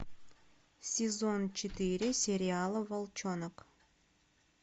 сезон четыре сериала волчонок